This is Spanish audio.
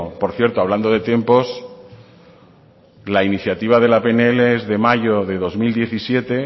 por cierto hablando de tiempos la iniciativa de la pnl es de mayo de dos mil diecisiete